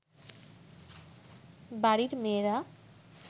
বাড়ির মেয়েরা